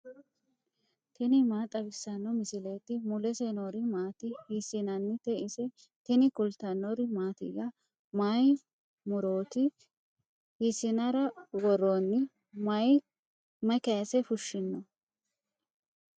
tini maa xawissanno misileeti ? mulese noori maati ? hiissinannite ise ? tini kultannori mattiya? Mayi murootti? hiisinnara woroonni? mayi kayiise fushinno?